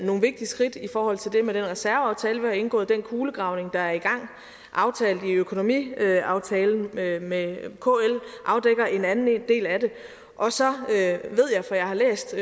nogle vigtige skridt i forhold til det med den reserveaftale vi har indgået den kulegravning der er i gang og aftalt i økonomiaftalen med med kl afdækker en anden del af det og så ved jeg for jeg har læst